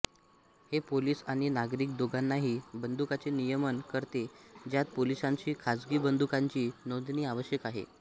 हे पोलिस आणि नागरीक दोघांनाही बंदुकांचे नियमन करते ज्यात पोलिसांशी खाजगी बंदुकांची नोंदणी आवश्यक आहे